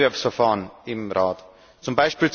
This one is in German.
zum Wettbewerbsverfahren im Rat, z.